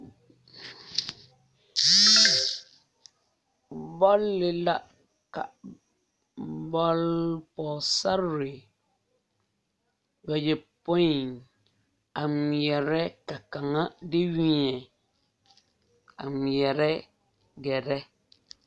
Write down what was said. Bɔle la bɔll pɔɔsarre bayɔpoi a ngmeɛrɛ ka kaŋa de weɛ a ngmeɛrɛ gɛrɛ.